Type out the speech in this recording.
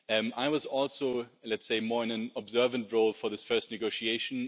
I was also, let's say, more in an observer role for this first negotiation.